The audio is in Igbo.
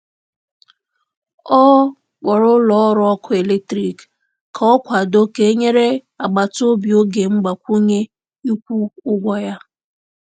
Ọ kpọrọ ụlọ ọrụ ọkụ eletrik ka ọ kwado ka e nyere agbata obi oge mgbakwunye ịkwụ ụgwọ ya.